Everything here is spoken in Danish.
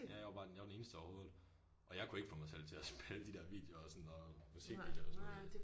Ja jeg var bare den jeg var den eneste overhovedet. Og jeg kunne ikke få mig selv til at spille de der videoer og sådan noget. Musikvideoer og sådan noget